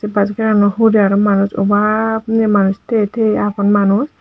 bus gari aano hure aro manuj obab ne manuj tiye tiye aagon manuj.